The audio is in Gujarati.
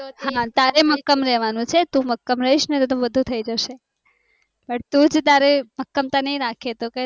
હા તારે મક્કમ રેવાનું છે તું મક્કમ હઈસ ને તો બધું થય જશે તુજ તારી મક્કમતા ની રાખી તો